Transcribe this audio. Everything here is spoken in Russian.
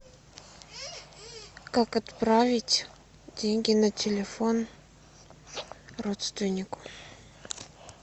как отправить деньги на телефон родственнику